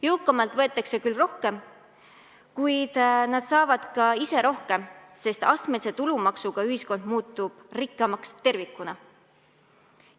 Jõukamatelt võetakse küll rohkem, kuid nad saavad ka ise rohkem, sest astmelise tulumaksuga ühiskond muutub rikkamaks tervikuna.